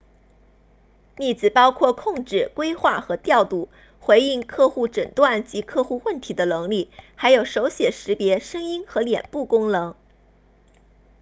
例子包括控制规划和调度回应客户诊断及客户问题的能力还有手写识别声音和脸部功能